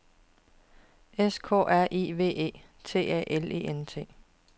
S K R I V E T A L E N T